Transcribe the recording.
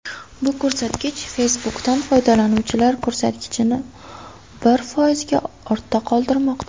Bu ko‘rsatkich Facebook’dan foydalanuvchilar ko‘rsatkichini bir foizga ortda qoldirmoqda.